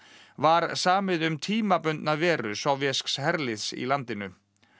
var samið um tímabundna veru sovésks herliðs í landinu